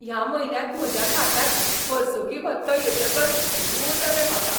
ह्या म्हयन्यांत म्हज्या खात्यांत वर्सुकी भत्तो येतकच सू जालें म्हाका.